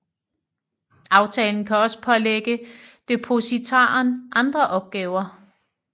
Aftalen kan også pålægge depositaren andre opgaver